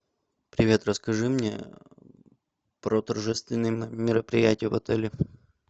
привет расскажи мне про торжественные мероприятия в отеле